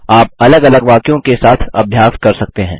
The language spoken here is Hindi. आप अलग अलग वाक्यों के साथ अभ्यास कर सकते हैं